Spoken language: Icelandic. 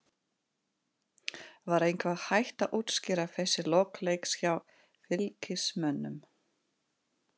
Var eitthvað hægt að útskýra þessi lok leiks hjá Fylkismönnum?